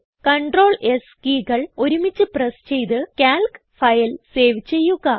CTRL S കീകൾ ഒരുമിച്ച് press ചെയ്ത് കാൽക്ക് ഫയൽ സേവ് ചെയ്യുക